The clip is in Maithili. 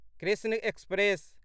कृष्ण एक्सप्रेस